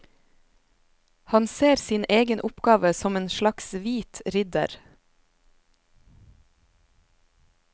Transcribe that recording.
Han ser sin egen oppgave som en slags hvit ridder.